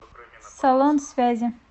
салон связи